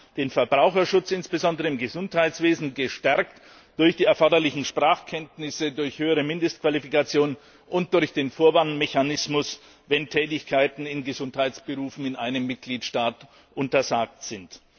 Wir haben den Verbraucherschutz, insbesondere im Gesundheitswesen, gestärkt durch die erforderlichen Sprachkenntnisse, durch höhere Mindestqualifikation und durch den Vorwarnmechanismus, wenn Tätigkeiten in Gesundheitsberufen in einem Mitgliedstaat untersagt sind.